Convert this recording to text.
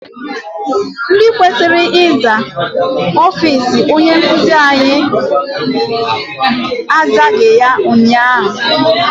Ndị kwesịrị ịza ọfịịsi onye nkụzi anyị azaghị ya ụnyaahụ.